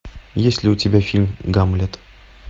есть ли у тебя фильм гамлет